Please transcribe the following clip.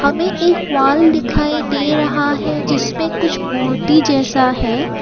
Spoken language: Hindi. हमें एक वॉल दिखाई दे रहा है जिसमें कुछ मूर्ति जैसा है।